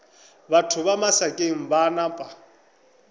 batho ba masakeng ba napa